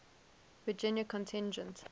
virginia contingent